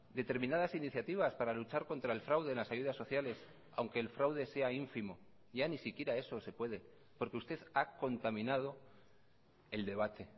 determinadas iniciativas para luchar contra el fraude en las ayudas sociales aunque el fraude sea ínfimo ya ni siquiera eso se puede porque usted ha contaminado el debate